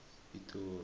yipitori